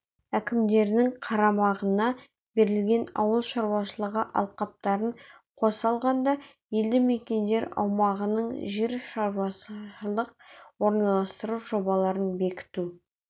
әкімдерінің қарамағына берілген ауыл шаруашылығы алқаптарын қоса алғанда елді мекендер аумағының жер-шаруашылық орналастыру жобаларын бекіту